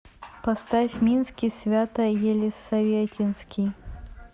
поставь минский свято елисаветинский